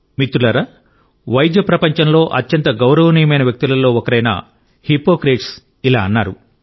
మిత్రులారా ఔషధ ప్రపంచంలో అత్యంత గౌరవనీయమైన వ్యక్తులలో ఒకరైన హిప్పోక్రేట్స్ ఇలా అన్నారు